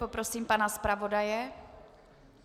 Poprosím pana zpravodaje.